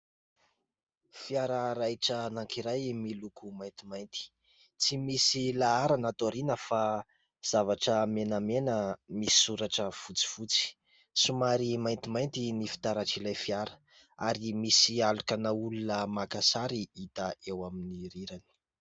Fiara raitra anankiray miloko maintimainty, tsy misy laharana ato aoriana fa zavatra menamena misy soratra fotsifotsy. Somary maintimainty ny fitaratr' ilay fiara ary misy alokan'olona maka sary hita eo amin'ny rirany.